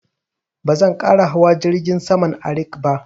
Ba zan ƙara hawa jirgin saman Arik ba